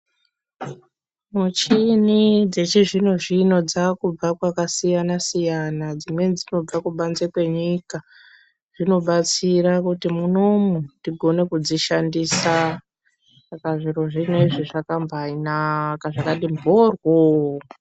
Muchini dzechizvino zvino dzakubva kwakasiyana siyana dzimweni dzakubva kubanze kwenyika. Zvinobatsira pakuti munomu tigone kudzishandisa saka zviro zvinezvi zvakambainaka zvakambati mboryo.